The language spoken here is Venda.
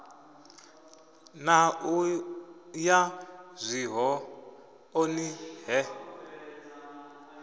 na u ya zwihoḓoni he